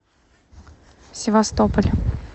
севастополь